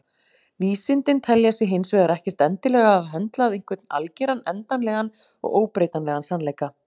Vísindin telja sig hins vegar ekkert endilega hafa höndlað einhvern algeran, endanlegan og óbreytanlegan sannleika.